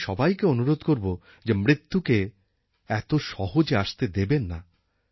আমি সবাইকে অনুরোধ করব যে মৃত্যুকে এত সহজে আসতে দেবেন না